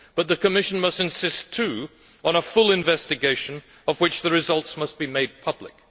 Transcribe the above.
But the Commission must insist, too, on a full investigation, of which the results must be made public.